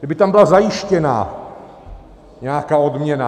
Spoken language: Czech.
Kdyby tam byla zajištěna nějaká odměna.